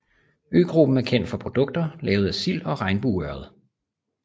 Øgruppen er kendt for produkter lavet af sild og regnbueørred